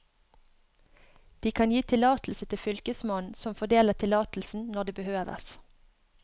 De kan gi tillatelse til fylkesmannen, som fordeler tillatelsen når det behøves.